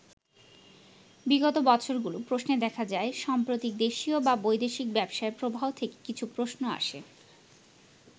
বিগত বছরগুলোর প্রশ্নে দেখা যায়, সাম্প্রতিক দেশীয় বা বৈদেশিক ব্যবসায় প্রবাহ থেকে কিছু প্রশ্ন আসে।